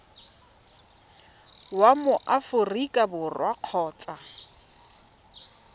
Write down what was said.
wa mo aforika borwa kgotsa